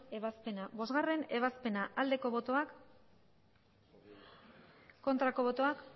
ebazpena bostgarrena ebazpena bozka dezakegu aldeko botoak aurkako botoak